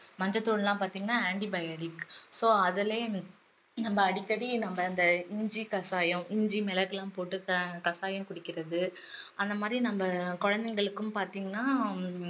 மஞ்சள்தூள் எல்லாம் பாத்திங்கன்னா antibiotic so அதுல நம்ம அடிக்கடி நம்ம இந்த இஞ்சி கசாயம், இஞ்சி மிளகு எல்லாம் போட்டு ஆஹ் கசாயம் குடிக்கிறது அந்தமாதிரி நம்ம குழந்தைங்களுக்கும் பாத்தீங்கன்னா ஹம்